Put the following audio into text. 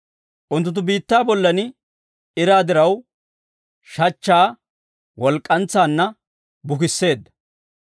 Unttunttu biittaa bollan iraa diraw shachchaa walk'k'antsaanna bukisseedda.